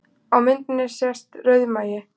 Á myndinni sést rauðmagi